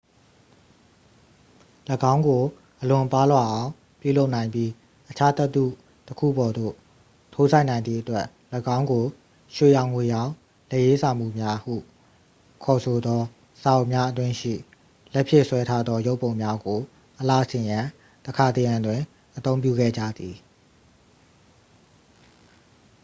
"၎င်းကို အလွန်ပါးလွှာအောင် ပြုလုပ်နိုင်ပြီး အခြားသတ္တုတစ်ခုပေါ်သို့ ထိုးစိုက်နိုင်သည့်အတွက် ၎င်းကို "ရွှေရောင်ငွေရောင် လက်ရေးစာမူများ" ဟု ခေါ်ဆိုသော စာအုပ်များအတွင်းရှိ လက်ဖြင့်ဆွဲထားသောရုပ်ပုံများကို အလှဆင်ရန် တခါတရံတွင် အသုံးပြုခဲ့ကြသည်။